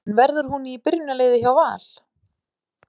En verður hún í byrjunarliði hjá Val?